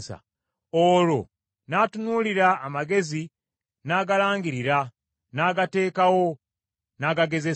olwo n’atunuulira amagezi n’agalangirira; n’agateekawo, n’agagezesa.